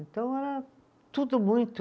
Então, era tudo muito